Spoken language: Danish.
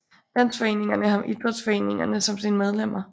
Landsdelsforeningerne har idrætsforeningerne som sine medlemmer